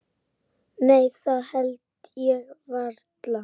Nei það held ég varla.